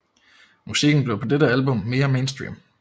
Musikken blev på dette album mere mainstream